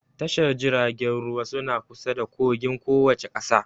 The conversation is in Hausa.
Tashar jiragen ruwa suna kusa da kogin kowace ƙasa